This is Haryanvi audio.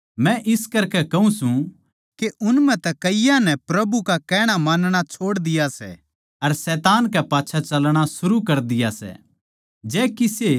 मै इस करकै कहूँ सूं के उन म्ह तै कईयाँ नै प्रभु का कहणा मानणा छोड़ दिया सै अर शैतान कै पाच्छै चालणा शुरू कर दिया सै